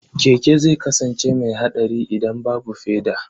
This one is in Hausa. Keke zai kasance mai haɗari idan babu feda.